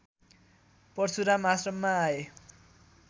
परशुराम आश्रममा आए